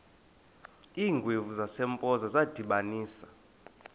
iingwevu zasempoza zadibanisana